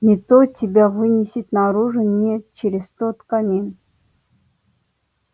не то тебя вынесет наружу не через тот камин